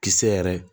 Kisɛ yɛrɛ